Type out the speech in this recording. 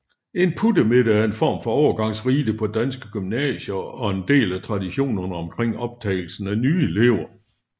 En puttemiddag er en form for overgangsrite på danske gymnasier og en del af traditionerne omkring optagelsen af nye elever